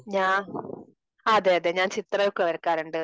ഞ അതെ അതെ ഞാൻ ചിത്രമൊക്കെ വരക്കാറുണ്ട്.